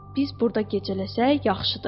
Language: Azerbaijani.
Biz burda gecələsək, yaxşıdır.